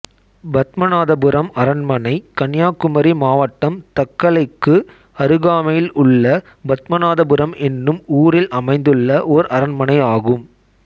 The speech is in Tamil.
பத்மநாபபுரம் அரண்மனை கன்னியாகுமரி மாவட்டம் தக்கலைக்கு அருகாமையில் உள்ள பத்மநாபபுரம் என்னும் ஊரில் அமைந்துள்ள ஓர் அரண்மனை ஆகும்